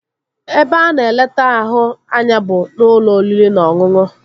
Ebe a na-eleta ahụ anya bụ n'ụlọ oriri na ọṅụṅụ